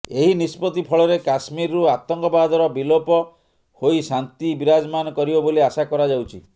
ଏହି ନିଷ୍ପତ୍ତି ଫଳରେ କାଶ୍ମୀରରୁ ଆତଙ୍କବାଦର ବିଳୋପ ହୋଇ ଶାନ୍ତି ବିରାଜମାନ କରିବ ବୋଲି ଆଶା କରାଯାଉଛି